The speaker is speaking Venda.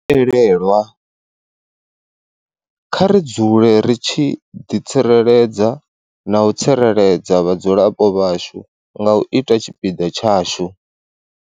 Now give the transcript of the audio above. Elelwa, kha ri dzule ri tshi ḓitsireledza na u tsireledza vhadzulapo vhashu nga u ita tshipiḓa tshashu.